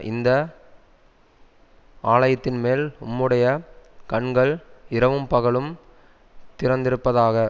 இந்த ஆலயத்தின்மேல் உம்முடைய கண்கள் இரவும் பகலும் திறந்திருப்பதாக